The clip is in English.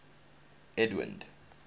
edwind